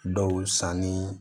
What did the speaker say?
Dɔw sanni